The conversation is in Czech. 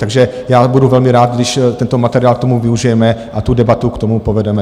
Takže já budu velmi rád, když tento materiál k tomu využijeme a tu debatu k tomu povedeme.